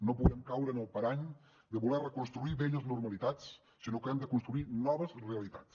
no podem caure en el parany de voler reconstruir velles normalitats sinó que hem de construir noves realitats